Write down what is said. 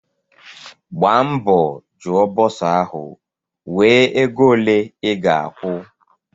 Gbaa mbọ jụọ bọsa ahụ wee ego ole I ga-akwu!